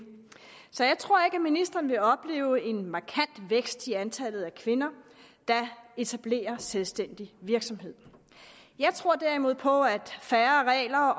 så jeg tror ikke at ministeren vil opleve en markant vækst i antallet af kvinder der etablerer selvstændig virksomhed jeg tror derimod på at færre regler og